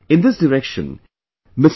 In this direction, Mr